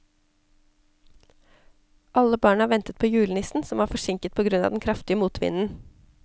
Alle barna ventet på julenissen, som var forsinket på grunn av den kraftige motvinden.